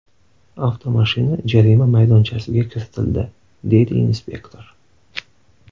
Avtomashina jarima maydonchasiga kiritildi”, – deydi inspektor.